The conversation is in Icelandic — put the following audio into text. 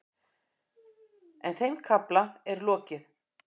En þeim kafla er lokið.